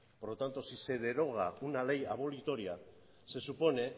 por lo tanto si se deroga una ley abolitoria se supone